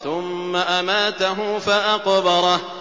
ثُمَّ أَمَاتَهُ فَأَقْبَرَهُ